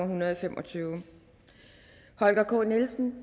hundrede og fem og tyve holger k nielsen